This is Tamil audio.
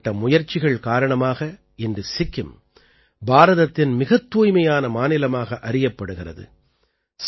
இப்படிப்பட்ட முயற்சிகள் காரணமாக இன்று சிக்கிம் பாரதத்தின் மிகத் தூய்மையான மாநிலமாக அறியப்படுகிறது